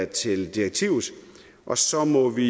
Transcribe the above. til direktivet og så må vi